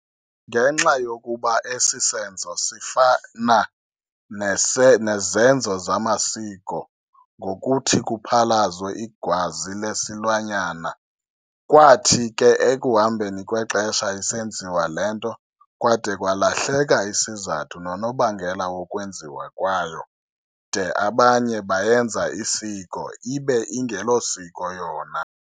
Ngenxa yokuba esi senzo sifana nezenzo zamasiko ngokuthi kuphalazwe igazi lesilwanyana, kwathi ke ekuhambeni kwexesha isenziwa le nto kwade kwalahleka isizathu nonobangela wokwenziwa kwayo de abanye bayenza isiko, ibe ingelosiko yona.